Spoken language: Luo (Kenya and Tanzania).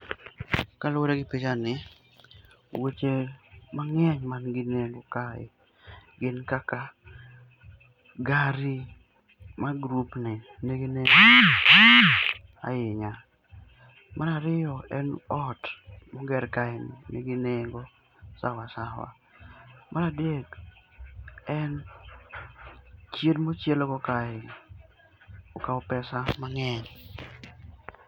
Kaluore gi pichani weche mangeny manigi nengo kae gin kaka gari mar grupni nigi nengo ahinya. Mar ariyo en ot moger kae ni nigi nengo sawa sawa[ccs]. Mar adek, en chiel mochiel go kae ni okaw pesa mangeny